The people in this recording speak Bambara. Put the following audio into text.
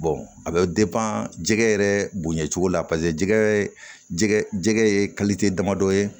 a bɛ jɛgɛ yɛrɛ bonya cogo la paseke jɛgɛ ye jɛgɛ ye damadɔ ye